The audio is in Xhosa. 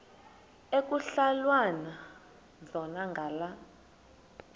ekuhhalelwana zona ngala